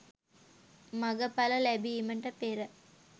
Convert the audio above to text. මග පල ලැබීමට පෙර